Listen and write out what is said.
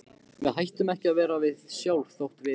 Við hættum ekki að vera við sjálf þótt við.